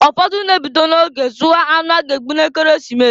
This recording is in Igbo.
Ụfọdụ na-ebido na-oge zụwa anụ a ga-egbu n'Ekeresimesi.